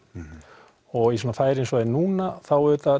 og í færi sem er núna þá